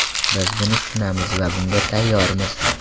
Biz buni tushunamiz va bunga tayyormiz.